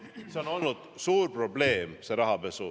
Rahapesu on olnud suur probleem.